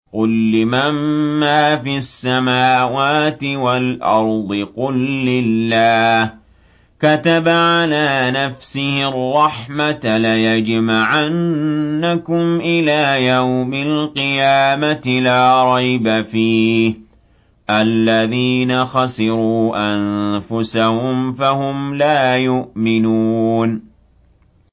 قُل لِّمَن مَّا فِي السَّمَاوَاتِ وَالْأَرْضِ ۖ قُل لِّلَّهِ ۚ كَتَبَ عَلَىٰ نَفْسِهِ الرَّحْمَةَ ۚ لَيَجْمَعَنَّكُمْ إِلَىٰ يَوْمِ الْقِيَامَةِ لَا رَيْبَ فِيهِ ۚ الَّذِينَ خَسِرُوا أَنفُسَهُمْ فَهُمْ لَا يُؤْمِنُونَ